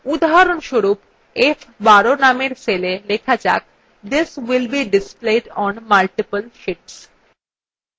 উদাহরণস্বরূপ f12 নামের cell লেখা যাক this will be displayed on multiple sheets